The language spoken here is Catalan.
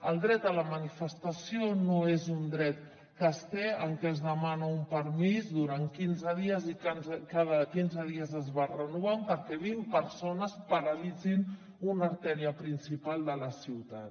el dret a la manifestació no és un dret que es té en què es demana un permís durant quinze dies i que cada quinze dies es va renovant perquè vint persones paralitzin una artèria principal de la ciutat